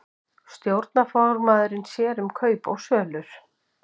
Stjórnarformaðurinn sér um kaup og sölur